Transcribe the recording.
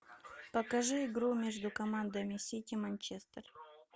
покажи игру между командами сити манчестер